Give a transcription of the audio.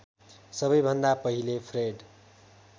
सबैभन्दा पहिले फ्रेड